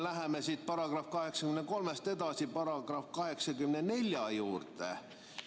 Läheme §‑st 83 edasi § 84 juurde.